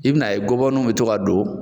I bi n'a ye gɔbɔ nun be to ka don